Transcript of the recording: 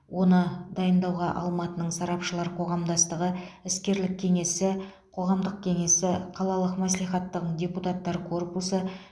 оны дайындауға алматының сарапшылар қоғамдастығы іскерлік кеңесі қоғамдық кеңесі қалалық мәслихаттың депутаттар корпусы